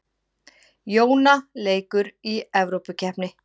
Jóna leikur í Evrópukeppni